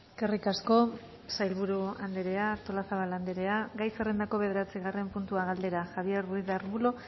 eskerrik asko sailburu andrea artolazabal andrea gai zerrendako bederatzigarren puntua galdera javier ruiz de arbulo